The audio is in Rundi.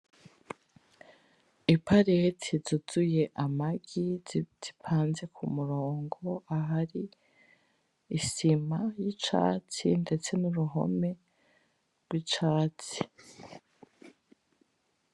Iparete zuzuye Amagi zipanze ku murongo ahari, isima y’icatsi ndetse n’uruhome rw’icatsi.